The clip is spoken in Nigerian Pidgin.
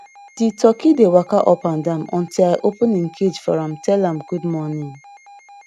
di turkey dey waka up and down until i open em cage for am tell am good morning